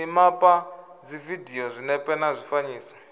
mimapa dzividio zwinepe na zwifanyiso